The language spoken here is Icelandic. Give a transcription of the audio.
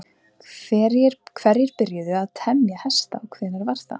hverjir byrjuðu að temja hesta og hvenær var það